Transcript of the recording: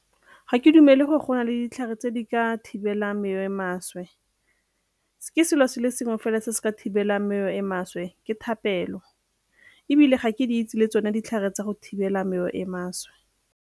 Ga ke dumele gore go na le ditlhare tse di ka thibelang mewa e e maswe. Ke selo se le sengwe fela se se ka thibelang mewa e e maswe ke thapelo ebile ga ke di itse le tsone ditlhare tsa go thibela mewa e e maswe.